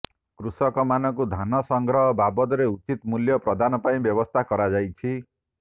କୃଷକମାନଙ୍କୁ ଧାନ ସଂଗ୍ରହ ବାବଦରେ ଉଚିତ ମୂଲ୍ୟ ପ୍ରଦାନ ପାଇଁ ବ୍ୟବସ୍ଥା କରାଯାଇଛି